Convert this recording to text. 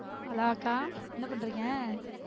Hello அக்கா என்ன பண்றிங்க?